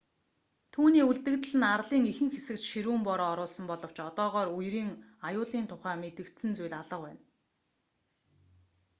түүний үлдэгдэл нь арлын ихэнх хэсэгт ширүүн бороо оруулсан боловч одоогоор үерийн аюулын тухай мэдэгдсэн зүйл алга байна